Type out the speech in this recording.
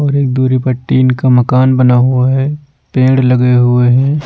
और एक दूरी पट्टी इनका मकान बना हुआ है पेंड़ लगे हुए हैं।